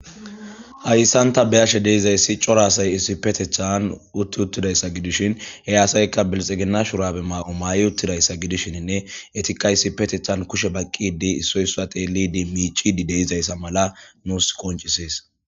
hayssanta beyashe deizayssi cora asay issipetethan utti uttidayssa gidishin he asaykka bilixegina shurabe maaqo mayi uttidayssa gidishinnne etika issipetethan kushe baqqidi issoy susa xeelidi miicidi deizayssa mala nuus qoncisees